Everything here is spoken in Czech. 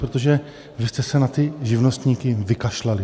Protože vy jste se na ty živnostníky vykašlali.